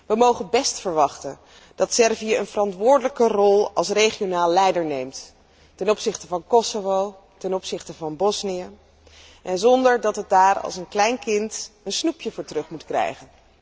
We mogen best verwachten dat Servië een verantwoordelijke rol als regionaal leider op zich neemt ten opzichte van Kosovo, ten opzichte van Bosnië, zonder dat het daar als een klein kind een snoepje voor terug moet krijgen.